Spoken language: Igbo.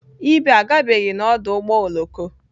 Ibe agabeghị n'ọdụ ụgbọ oloko